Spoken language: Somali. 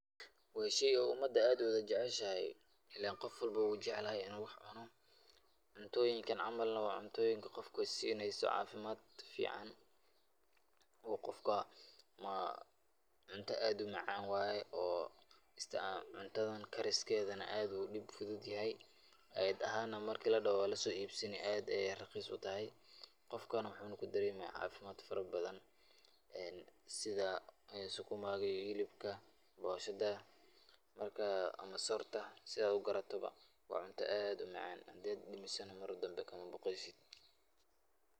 Waa shey oo umada aad u wada jeceshahay, illen qof walbo wuu jeclahay inuu wax cuno. Cuntooyinkan camal waa cuntooyinka qofka siineyso caafimaad fican oo qofka. Cunto aad u macaan waay. Cuntadan kariskeedana aad u dib fududahay. Ayid ahaan, marka la dhaho waa la soo iibsanayaa, aad ayay rakhiis u tahay, qofkana wuxuu ku daremayaa caafimaad farabadan sida sukuma iyo hilibka, booshada, markaa, ama soorta si aad u garataba. Waa cunto aad u macaan, haddaad dhadhamisidna mar dambe kamabaqeysid.